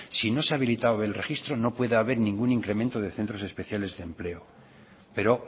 si no se ha habilitado el registro no puede haber ningún incremente de centros especiales de empleo pero